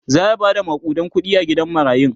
zaya Bada makudan kuɗi a gidan marayun